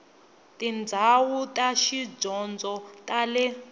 tindhawu ta tidyondzo ta le